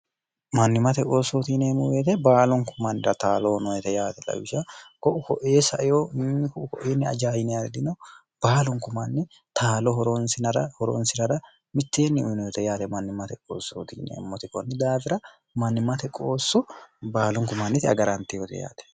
mannimate qoossoo tiineemmo weete baalunku mannira taalo noyete yaate lawisha ko'u koee saeo niko ukoenni ajayine ardino baalunku manni taalo horonsinara horonsinara mitteenni uyinoete yaale mannimate qoossootiinemmoti konni daafira mannimate qoosso baalunku mannite agarantii hote yaate